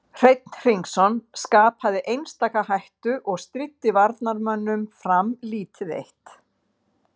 Landið liggur að Rúmeníu til vesturs og að Úkraínu til norðurs, austurs og suðurs.